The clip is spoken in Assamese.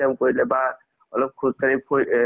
south ৰ movies কেইটাৰ story কেইটা ভাল থাকে কিন্তু